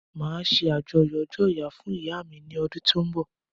Máa ṣe àyájọ́ ọjọ́ ìyá fún ìyá mi ní ọdún tó ń bọ̀